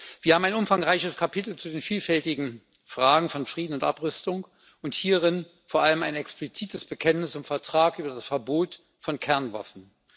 Wir haben ein umfangreiches Kapitel zu den vielfältigen Fragen von Frieden und Abrüstung und hierin vor allem ein explizites Bekenntnis zum Vertrag über das Verbot von Kernwaffen.